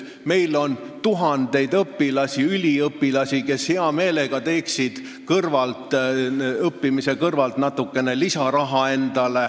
Meil on tuhandeid õpilasi ja üliõpilasi, kes hea meelega teeniksid endale õppimise kõrvalt natukene lisaraha.